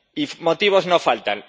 Y motivos no faltan.